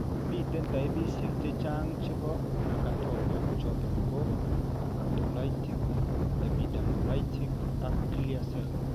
Miten taipishek chechang chebo acanthoma choton ko acantholytic, epidermolytic ak clear cell